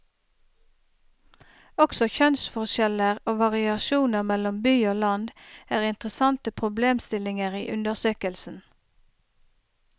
Også kjønnsforskjeller og variasjoner mellom by og land er interessante problemstillinger i undersøkelsen.